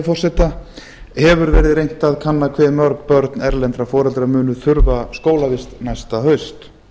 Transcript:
annars hefur verið reynt að kanna hve mörg börn erlendra foreldra munu þurfa skólavist næsta haust